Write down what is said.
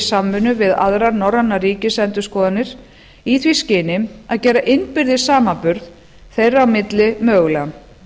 samvinnu við aðrar norrænar ríkisendurskoðanir í því skyni að gera innbyrðis samanburð þeirra í milli mögulegan